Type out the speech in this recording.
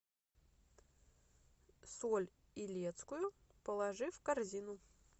соль илецкую положи в корзину